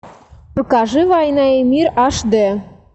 покажи война и мир аш д